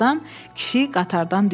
Birazdan kişi qatardan düşdü.